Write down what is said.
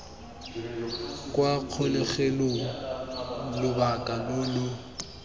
kwa kgolegelong lobaka lo lo